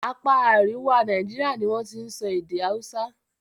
Apá àríwá Nàíjíríà ni wọ́n ti n sọ èdè Hausa.